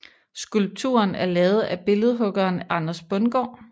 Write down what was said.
Skulpturen er lavet af billedhuggeren Anders Bundgaard